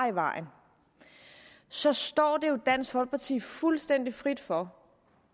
i vejen så står det jo dansk folkeparti fuldstændig frit for